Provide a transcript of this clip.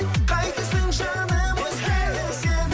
қайтесің жаным өзгені сен